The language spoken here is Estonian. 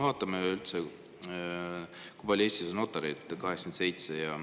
Vaatame, kui palju Eestis on notareid: 87.